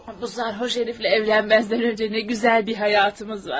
Bu Zaxarov hərifi ilə evlənməzdən əvvəl nə gözəl bir həyatımız vardı.